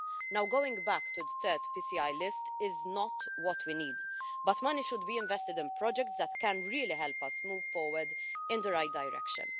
Now, going back to the 3rd PCI list is not what we need, but money should be invested in projects that can really help us move forward in the right direction.